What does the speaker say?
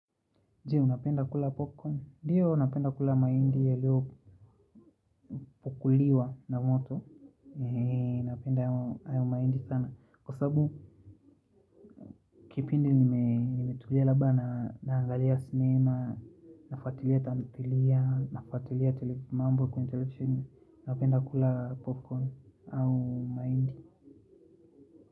Je unapenda kula popcorn, ndiyo napenda kula mahindi yaliyopuliwa pukuliwa na moto. Napenda hayo mahindi sana. Kwa sababu kipindi nimetulia labda naangalia sinema. Nafuatilia tamthilia, nafuatilia mambo kwenye televisheni napenda kula popcorn au mahindi.